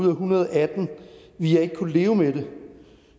en hundrede og atten ville jeg ikke kunne leve med det